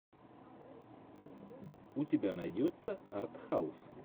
у тебя найдется артхаус